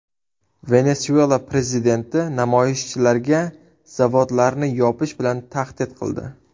Venesuela prezidenti namoyishchilarga zavodlarni yopish bilan tahdid qildi.